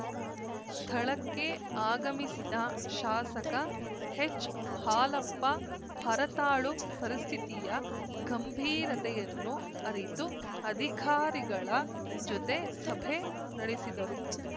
ಸ್ಥಳಕ್ಕೆ ಆಗಮಿಸಿದ ಶಾಸಕ ಹೆಚ್‌ಹಾಲಪ್ಪ ಹರತಾಳು ಪರಿಸ್ಥಿತಿಯ ಗಂಭೀರತೆಯನ್ನು ಅರಿತು ಅಧಿಕಾರಿಗಳ ಜೊತೆ ಸಭೆ ನಡೆಸಿದರು